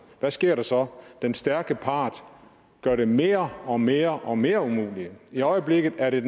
hvad sker der så den stærke part gør det mere og mere og mere umuligt i øjeblikket er det